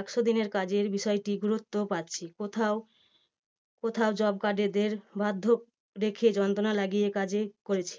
একশো দিনের কাজের বিষয়টি গুরুত্ব পাচ্ছে। কোথাও job card এদের বাধ্য দেখিয়ে যন্ত্রনা লাগিয়ে কাজে হয়েছে